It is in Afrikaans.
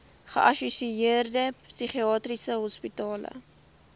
geassosieerde psigiatriese hospitale